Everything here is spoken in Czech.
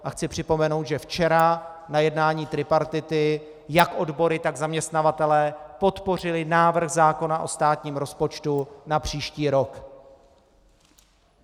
A chci připomenout, že včera na jednání tripartity jak odbory, tak zaměstnavatelé podpořili návrh zákona o státním rozpočtu na příští rok.